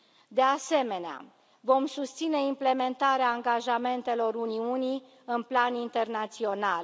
De asemenea, vom susține implementarea angajamentelor Uniunii în plan internațional.